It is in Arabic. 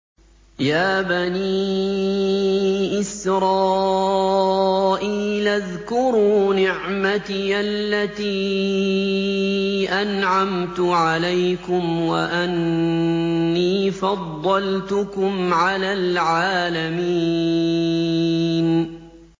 يَا بَنِي إِسْرَائِيلَ اذْكُرُوا نِعْمَتِيَ الَّتِي أَنْعَمْتُ عَلَيْكُمْ وَأَنِّي فَضَّلْتُكُمْ عَلَى الْعَالَمِينَ